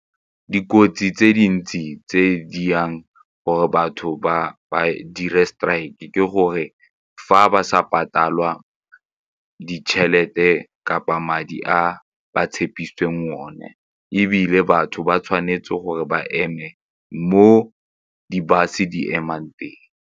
Dikotsi tse dintsi tse dirang gore batho ba ba di re strike ke gore fa ba sa patala ditšhelete kapa madi a ba tshepisitseng one ebile batho ba tshwanetse gore ba eme mo di-bus-e di emang teng.